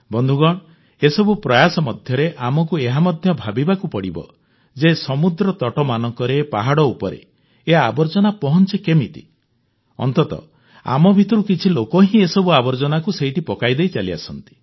ବନ୍ଧୁଗଣ ଏସବୁ ପ୍ରୟାସ ମଧ୍ୟରେ ଆମକୁ ଏହା ମଧ୍ୟ ଭାବିବାକୁ ପଡ଼ିବ ଯେ ସମୁଦ୍ରତଟମାନଙ୍କରେ ପାହାଡ଼ ଉପରେ ଏ ଆବର୍ଜନା ପହଂଚେ କେମିତି ଅନ୍ତତଃ ଆମ ଭିତରୁ କିଛି ଲୋକ ହିଁ ଏସବୁ ଆବର୍ଜନାକୁ ସେଇଠି ପକାଇଦେଇ ଚାଲିଆସନ୍ତି